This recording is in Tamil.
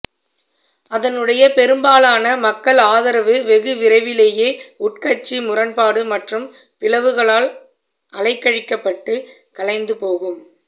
அதனுடைய பெரும்பாலான மக்கள் ஆதரவு வெகு விரைவிலேயே உட்கட்சி முரண்பாடு மற்றும் பிளவுகளால் அலைக்கழிக்கப்பட்டு கலைந்து போகும்